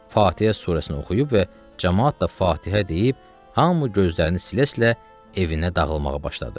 Fatihə surəsini oxuyub və camaat da Fatihə deyib hamı gözlərini silə-silə evinə dağılmağa başladı.